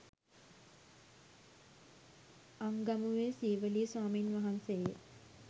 අංගමුවේ සීවලී ස්වාමින් වහන්සේ ය